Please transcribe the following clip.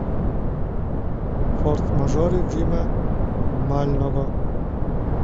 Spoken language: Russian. форс мажоры джима мального